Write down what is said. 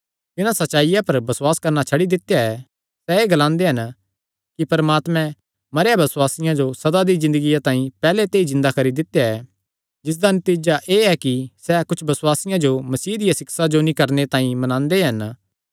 तिन्हां सच्चाईया पर बसुआस करणा छड्डी दित्या ऐ सैह़ एह़ ग्लांदे हन कि परमात्मे मरेयां बसुआसियां जो सदा दी ज़िन्दगिया तांई पैहल्ले ते ई जिन्दा करी दित्या ऐ जिसदा नतीजा एह़ ऐ कि सैह़ कुच्छ बसुआसियां जो मसीह दिया सिक्षा जो नीं करणे तांई मनांदे हन